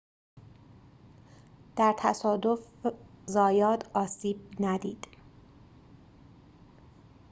در تصادف زایات آسیب ندید